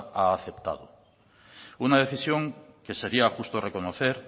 ha aceptado una decisión que sería justo reconocer